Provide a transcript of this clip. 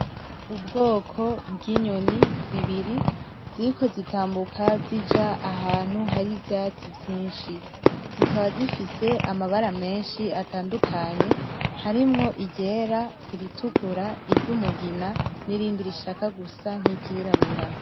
Ubwoko bw'inyoni zibiri ziriko zitambuka zija ahantu hari ivyatsi vyinshi, zikaba zifise amabara menshi atandukanye harimwo iryera, iritukura, iryumugina nirindi rishaka gusa nk'iryirabura.